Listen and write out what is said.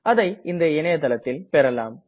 அதை இந்த இணையதளத்தில் பெறலாம்